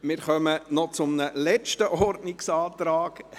Wir kommen noch zu einem letzten Ordnungsantrag.